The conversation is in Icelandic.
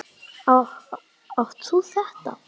Átt þú þetta?